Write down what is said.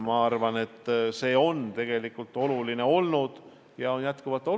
Ma arvan, et see on tegelikult oluline ka edaspidi.